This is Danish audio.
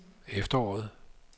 efteråret